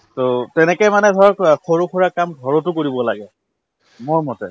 to তেনেকে মানে ধৰক সৰুসুৰা কাম ঘৰতো কৰিব লাগে মোৰমতে